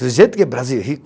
Do jeito que Brasil é rico.